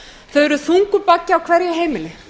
þau eru þungur baggi á hverju heimili